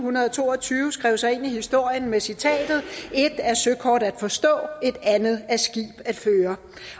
to og tyve skrev sig ind i historien med citatet et er søkort at forstå et andet er skib at føre